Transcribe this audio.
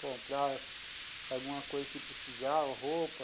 Comprava alguma coisa que precisava, roupa.